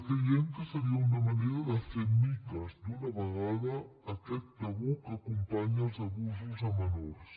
creiem que seria una manera de fer miques d’una vegada aquest tabú que acompanya els abusos a menors